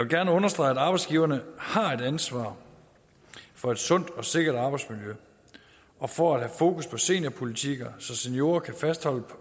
gerne understrege at arbejdsgiverne har et ansvar for et sundt og sikkert arbejdsmiljø og for at have fokus på seniorpolitikker så seniorer kan fastholdes